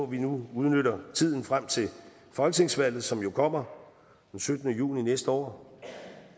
vi nu udnytter tiden frem til folketingsvalget som jo kommer den syttende juni næste år